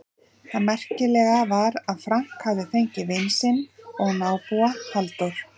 Það merkilega var að Frank hafði fengið vin sinn og nábúa, Halldór